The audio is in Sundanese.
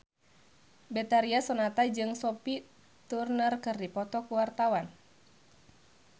Betharia Sonata jeung Sophie Turner keur dipoto ku wartawan